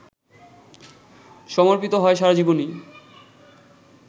সমর্পিত হয় সারাজীবনই!